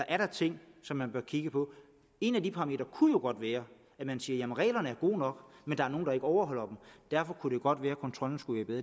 er ting som man bør kigge på en af de parametre kunne jo godt være at man siger at reglerne er gode nok men der er nogle der ikke overholder dem og derfor kunne det godt være at kontrollen skulle være